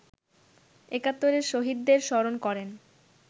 একাত্তরের শহীদদের স্মরণ করেন